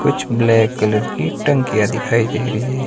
कुछ black colour की टंकियां दिखाई दे रही है।